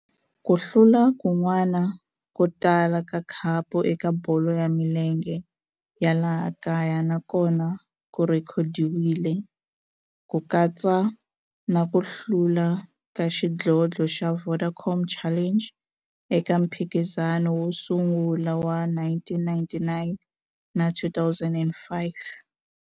Ku hlula kun'wana ko tala ka khapu eka bolo ya milenge ya laha kaya na kona ku rhekhodiwile, ku katsa na ku hlula ka xidlodlo xa Vodacom Challenge eka mphikizano wo sungula wa 1999 na 2005.